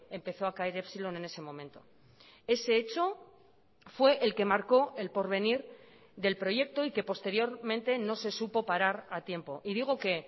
empezó a caer epsilon en ese momento ese hecho fue el que marcó el porvenir del proyecto y que posteriormente no se supo parar a tiempo y digo que